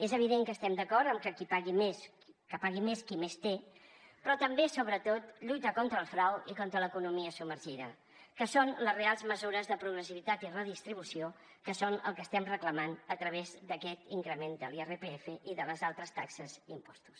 és evident que estem d’acord en que pagui més qui més té però també sobretot lluita contra el frau i contra l’economia submergida que són les reals mesures de progressivitat i redistribució que és el que estem reclamant a través d’aquest increment de l’irpf i de les altres taxes i impostos